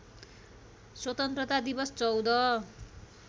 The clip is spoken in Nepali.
स्वतन्त्रता दिवस १४